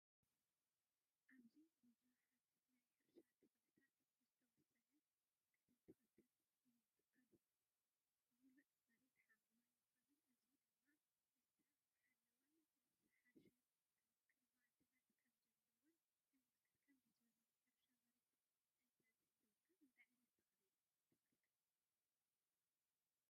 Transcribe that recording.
ኣብዚ ብዙሓት ናይ ሕርሻ ተኽልታት ብዝተወሰነ ቅደም ተኸተል ይተኽሉ። ምሉእ መሬት ሓምላይ ምዃኑን፡ እዚ ድማ ዝተሓለወን ዝሓሸ ክንክን ማዕድናት ከም ዘለዎን የመልክት። ከምዚ ዝበለ ናይ ሕርሻ መሬት እንተዝህልወካ እንታይ ዓይነት ተኽሊ ምተኸልካ?